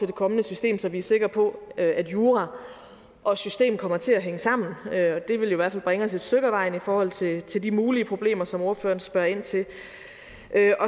det kommende system så vi er sikre på at jura og system kommer til at hænge sammen det vil i hvert fald bringe os et stykke ad vejen i forhold til til de mulige problemer som ordføreren spørger ind til